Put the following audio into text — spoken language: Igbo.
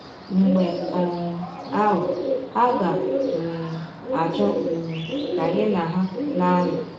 Mgbe um ahụ, ha ga um - achọ um ka gị na ha na - anọ.